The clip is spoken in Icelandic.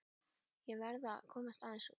Ég verð að komast aðeins út.